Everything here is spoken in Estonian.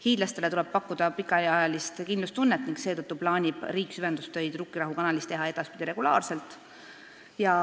Hiidlastele tuleb pakkuda pikaajalist kindlustunnet ning seetõttu plaanib riik süvendustöid Rukkirahu kanalis teha edaspidi regulaarselt.